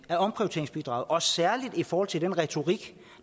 særlig i forhold til den retorik